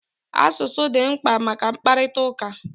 Asụsụ dị mkpa maka mkparịtaụka